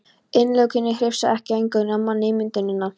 Innilokunin hrifsar ekki eingöngu af manni ímyndunina.